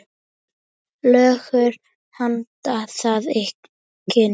Leggur hönd að kinn.